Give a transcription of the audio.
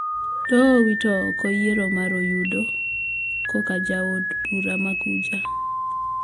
Doho owito oko yiero mar oyundo koka jaod bura ma kuja